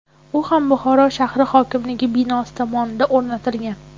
U ham Buxoro shahar hokimligi binosi tomida o‘rnatilgan.